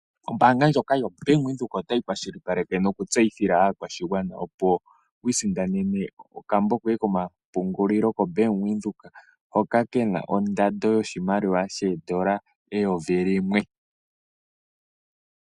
Ombaanga ndjoka yoBank Windhoek otayi kwashilipaleke nokutseyithila aakwashigwana, opo yi isindanene okambo koye komapungulilo koBank Windhek hoka ke na ondando yoshimaliwa shoodola eyovi limwe.